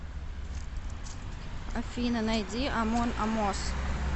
афина найди амон амос